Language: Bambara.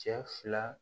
Cɛ fila